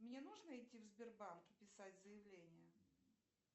мне нужно идти в сбербанк и писать заявление